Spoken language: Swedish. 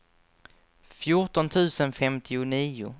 fjorton tusen femtionio